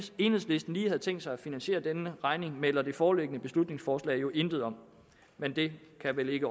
enhedslisten lige havde tænkt sig at finansiere den regning melder det foreliggende beslutningsforslag jo intet om men det kan vel ikke